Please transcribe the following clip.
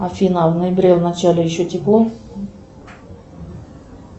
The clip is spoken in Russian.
афина в ноябре в начале еще тепло